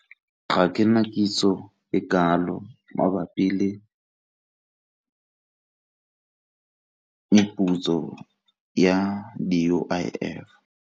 Ga ke na kitso e kalo mabapi le meputso ya di-U_I_F.